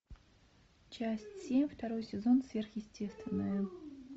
часть семь второй сезон сверхъестественное